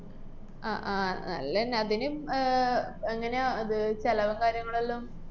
അഹ് ആഹ് അല്ലെന്ന് ഇനി അതിനും അഹ് എങ്ങനെയാ അത് ചെലവും കാര്യങ്ങളുവെല്ലാം?